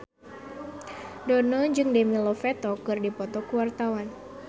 Dono jeung Demi Lovato keur dipoto ku wartawan